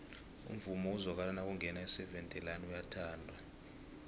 umvumo ozwakala nakungena iseven delaan uyathandwa